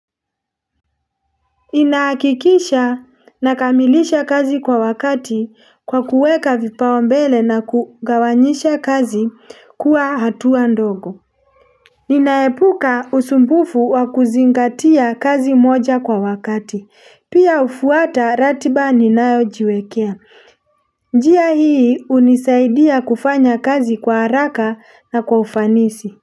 Ninahakikisha nakamilisha kazi kwa wakati kwa kuweka vipaumbele na kugawanyisha kazi kuwa hatua ndogo. Ninaepuka usumbufu wa kuzingatia kazi moja kwa wakati. Pia hufuata ratiba ninayojiwekea. Njia hii hunisaidia kufanya kazi kwa haraka na kwa ufanisi.